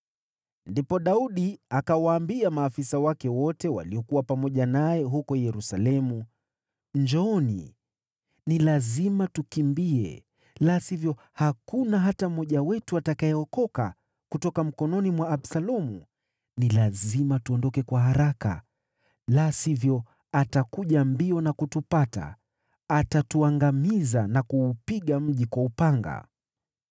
Ndipo Daudi akawaambia maafisa wake wote waliokuwa pamoja naye huko Yerusalemu, “Njooni! Ni lazima tukimbie, la sivyo hakuna hata mmoja wetu atakayeokoka kutoka mkononi mwa Absalomu. Ni lazima tuondoke kwa haraka, la sivyo atakuja mbio na kutupata, atatuangamiza na kuupiga mji kwa upanga.”